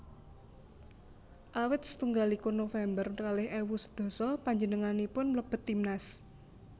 Awit setunggal likur November kalih ewu sedasa panjenenganipun mlebet timnas